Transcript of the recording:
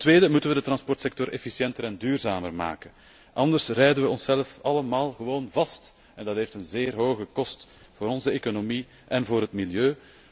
Ten tweede moeten we de transportsector efficiënter en duurzamer maken, anders rijden we onszelf helemaal vast en dat heeft zeer hoge kosten voor onze economie en het milieu.